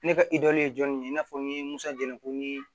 Ne ka ye jɔn ye i n'a fɔ n ye musajalan ko ni